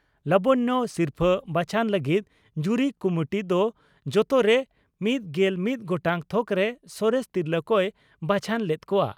ᱞᱟᱵᱚᱱᱭᱚ ᱥᱤᱨᱯᱷᱟᱹ ᱵᱟᱪᱷᱚᱱ ᱞᱟᱹᱜᱤᱫ ᱡᱩᱨᱤ ᱠᱩᱢᱩᱴ ᱫᱚ ᱡᱚᱛᱚᱨᱮ ᱑᱑ ᱜᱚᱴᱟᱝ ᱛᱷᱚᱠᱨᱮ ᱥᱚᱨᱮᱥ ᱛᱤᱨᱞᱟᱹ ᱠᱚᱭ ᱵᱟᱪᱷᱚᱱ ᱞᱮᱫ ᱠᱚᱣᱟ ᱾